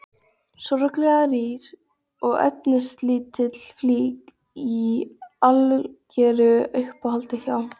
Sorglega rýr og efnislítil flík í algeru uppáhaldi hjá